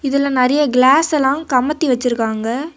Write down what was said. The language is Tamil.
இதுல நறைய கிளாஸ் எல்லாம் கமத்தி வச்சிருக்காங்க.